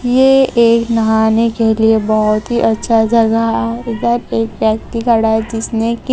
ये एक नहाने के लिए बोहोत ही अच्छा जगह है इधर एक व्यक्ति खड़ा है जिसने की--